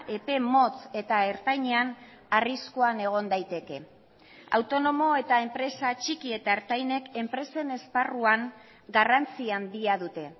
epe motz eta ertainean arriskuan egon daiteke autonomo eta enpresa txiki eta ertainek enpresen esparruan garrantzia handia dute